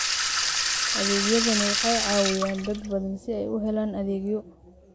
Adeegyadani waxay caawiyaan dad badan si ay u helaan adeegyo.